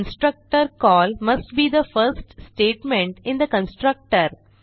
constructor call must be the first statement in the constructor